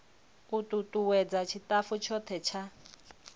u tutuwedza tshitafu tshothe tsha